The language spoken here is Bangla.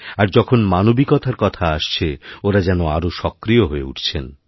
আর যখনমানবিকতার কথা আসছে ওঁরা যেন আরও সক্রিয় হয়ে উঠছেন